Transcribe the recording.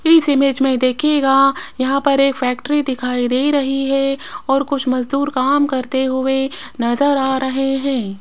इस इमेज में देखिएगा यहां पर एक फैक्ट्री दिखाई दे रही है और कुछ मजदूर काम करते हुए नजर आ रहे है।